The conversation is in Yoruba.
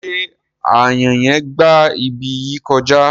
Ṣé aáyàn yen gba ibi yìí kọjá?